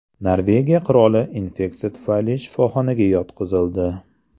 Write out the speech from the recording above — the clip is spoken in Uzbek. Norvegiya qiroli infeksiya tufayli shifoxonaga yotqizildi.